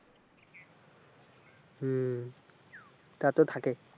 হম তা তো থাকেই।